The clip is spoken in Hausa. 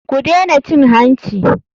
Ku dena cin hanci.